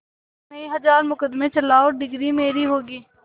एक नहीं हजार मुकदमें चलाएं डिगरी मेरी होगी